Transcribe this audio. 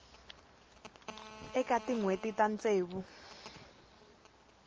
eka tin hweti ta ntsevu